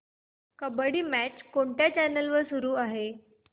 kabaddi match कोणत्या channel वर चालू आहे